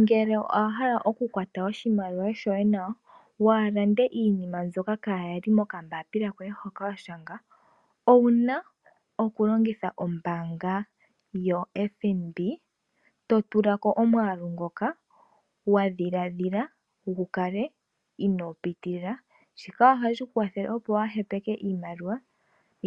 Ngele owa hala oku kwata oshimaliwa shoye nawa, waa ha lande iinima mbyoka kaa ya li moka mbaapila koye hoka wa shanga, ouna oku longitha ombaanga yo (FNB) to tilako omwaalu ngoka wa dhiladhila, inoo pitilila. Shika oha shi kwathele opo wa ha tule iimaliwa